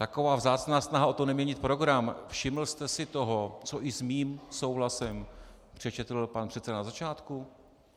Taková vzácná snaha o to, neměnit program - všiml jste si toho, co i s mým souhlasem přečetl pan předseda na začátku?